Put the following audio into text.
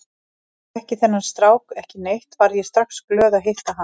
Þótt ég þekkti þennan strák ekki neitt varð ég strax glöð að hitta hann.